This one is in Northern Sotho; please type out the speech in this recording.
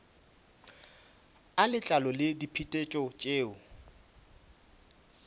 a letlalo le diphetetšo tšeo